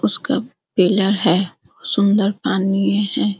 उसका पिलर है सुंदर पानी है।